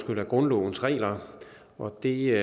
grundlovens regler og det